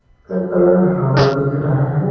का कलर हरा दिख रहा है।